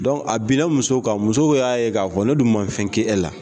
a binna muso kan muso y'a ye k'a fɔ ne dun ma fɛn kɛ e la